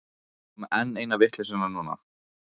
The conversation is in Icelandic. Ekki koma með enn eina vitleysuna núna.